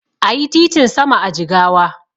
Ayi titin sama a Jigawa